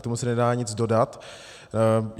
K tomu se nedá nic dodat.